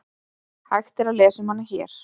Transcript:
Hægt að lesa um hana hér.